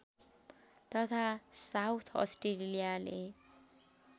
तथा साउथ अस्ट्रेलियाले